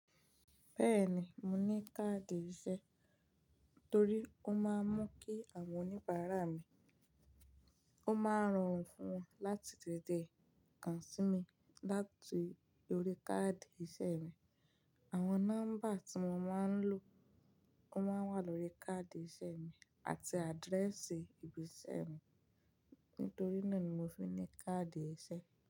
Bẹ́ẹ̀ ni, mo ní káàdì ìṣe torí ó máa ń mú kí àwọn oníbàárà mi, ó máa ń ràn wọ́n fún wọn láti tètè kàn sí mi láti lórí káàdì ìṣe mi. Àwọn nọ́mbà tí wọ́n máa ń lò, ó máa wà lórí káàdì ìṣe mi àti àdírẹ́ẹ̀sì ibi iṣẹ́ mi. Nítorí náà ni mo fi ní káàdì ìṣe.